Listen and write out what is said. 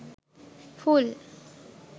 full